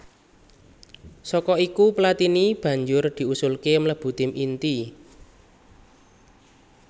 Saka iku Platini banjur diusulké mlebu tim inti